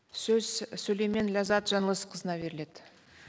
сөз сүлеймен ләззат жаңылысқызына беріледі